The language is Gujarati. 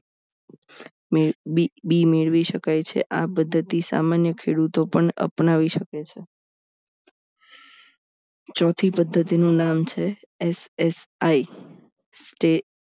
મેળવી શકાય છે આ પદ્ધતિ સામાન્ય ખેડૂતો પણ અપનાવી શકે છે ચોથી પદ્ધતિનું નામ છે SSI તે